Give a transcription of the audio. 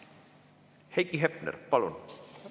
Heiki Hepner, palun!